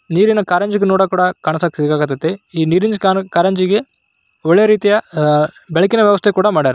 ನೀರಿನ ಕಾರಂಜಿಯನ್ನು ನೋಡೋಕೆ ಕಾಣಕತೈತಿ ಈ ನೀರಿನ ಕಾರಂಜಿಗೆ ಒಳ್ಳೆಯ ರೀತಿಯ ಆ ಬೆಳಕಿನ ವ್ಯವಸ್ಥೆ ಕೂಡ ಮಾಡಿದ್ದಾರೆ